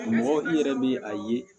Mɔgɔ i yɛrɛ be a ye